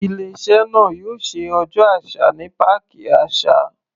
Ilé iṣẹ́ náà yóò ṣe ọjọ́ àṣà ní páàkì àṣà.